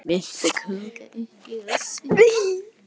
Myrkrið var enn sótsvart og það var hrollur í henni.